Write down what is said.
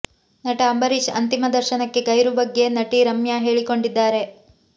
ನಟ ಅಂಬರೀಷ್ ಅಂತಿಮ ದರ್ಶನಕ್ಕೆ ಗೈರು ಬಗ್ಗೆ ನಟಿ ರಮ್ಯಾ ಹೇಳಿಕೊಂಡಿದ್ದಾರೆ